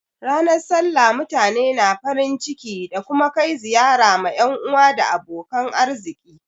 Ranar sallah mutane na farin ciki da kuma kai ziyara ma yan uwa da abokan arziki.